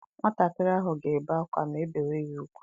Nwatakịrị ahụ ga-ebe akwa ma e bewa ya ugwu.